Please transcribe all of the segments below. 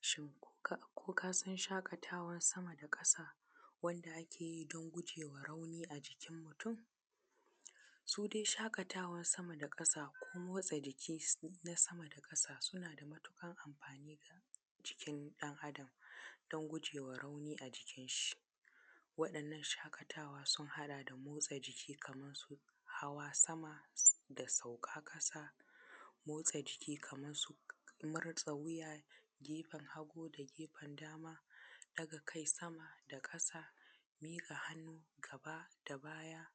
Shin ko kasan shaƙatawan sama da ƙasa wanda ake yi don gujewa rauni a jikin mutum? Su dai shaƙatawan saka da ƙasa ko motsa jiki na sama da ƙasa suna da matuƙar amfani ga jikin ɗan Adam don gujewa rauni a jikin shi. Waɗannan shaƙatawa sun haɗa da motsa jiki kamar su hawa sama da sauka ƙasa, motsa jiki kamar su murza wuya, gefen hagu da gefen dama, daga kai sama da ƙasa, miƙa hannu gaba da baya,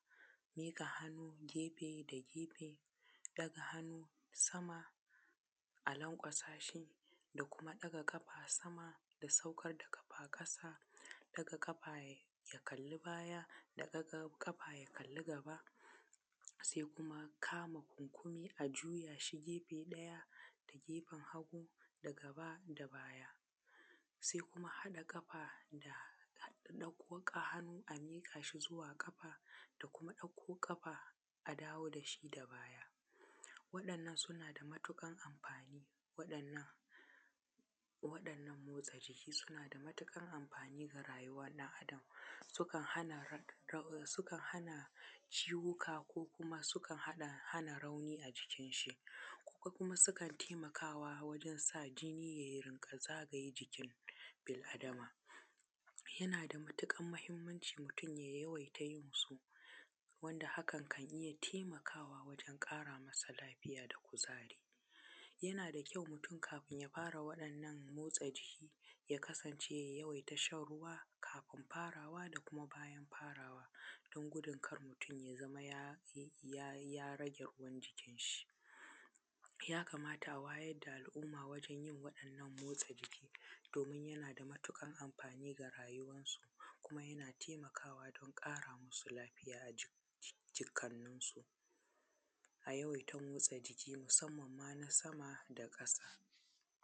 miƙa hannu gefe da gefe, ɗaga hannu sama, a lanƙwasa shi, da kuma ɗaga kafa sama da saukar da kafa ƙasa, ɗaga kafa ya kalli baya, da ɗaga ƙafa ya kalli gaba, sai kuma kama kunkumi a juyashi gefe ɗaya da gefen hagu da gaba da baya, sai kuma haɗa ƙafa, da ɗauko hannu a miƙa shi zuwa ƙafa, da kuma ɗauko ƙafa a dawo dashi da baya. Waɗanna suna da matuƙar amfani, waɗanna, waɗannan motsa jiki suna da matuƙar amfani ga rayuwar ɗan Adam, sukan hana rau, sukan hana ciwuka ko kuma sukan hana rauni a jikin shi, ko kuma sukan taimakawa wajen da jini ye rinƙa zagaye jikin bil’adama. Yana da matuƙar mahimmanci mutum ya yawaita yin su, wanda hakan kan iya taimakawa wajen ƙara masa lafiya da kuzari. Yana da kyau mutum kafin ya fara wa’innan motsa jiki ya kasance ya yawaita shan ruwa kafin farawa da kuma bayan farawa,, don gudun kar mutum ya, ya rage ruwan jikinshi. Yakamata a wayar da al’umma wajen yin wadannan motsa jiki, domin yana da matuƙar amfani fa rayuwarsu, kuma yana taimakawa don ƙara musu lafiya ajikannansu. A yawaita motsa jiki musamman ma na sama da ƙasa.